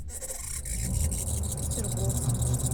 петергофа